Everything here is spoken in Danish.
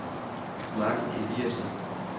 Margit Eliasen